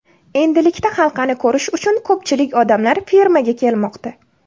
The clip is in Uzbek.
Endilikda halqani ko‘rish uchun ko‘pchilik odamlar fermaga kelmoqda.